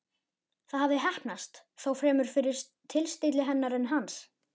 Það hafði heppnast, þó fremur fyrir tilstilli hennar en hans.